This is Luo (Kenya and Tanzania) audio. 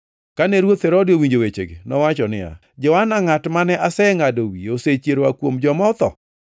Kane ruoth Herode owinjo wechegi, nowacho niya, “Johana ngʼat mane asengʼado wiye osechier oa kuom joma otho!”